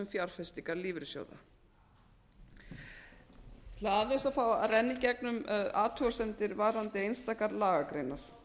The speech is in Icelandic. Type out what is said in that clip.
fjárfestingar lífeyrissjóða ég ætla aðeins að fá að renna í gegnum athugasemdir varðandi einstakar lagagreinar